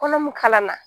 Kɔnɔ min kalan na